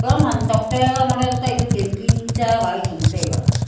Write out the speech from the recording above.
long ham tok toh long de taipu tanki nu cha gai tham tega.